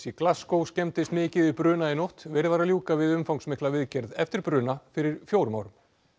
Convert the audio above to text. Glasgow skemmdist mikið í bruna í nótt verið var að ljúka við umfangsmikla viðgerð eftir bruna fyrir fjórum árum